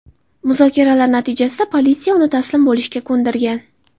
Muzokaralar natijasida politsiya uni taslim bo‘lishga ko‘ndirgan.